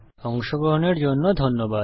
অংশগ্রহনের জন্য ধন্যবাদ